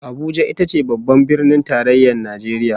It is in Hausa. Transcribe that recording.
Abuja ita ce Babban Birnin Tarayyar Najeriya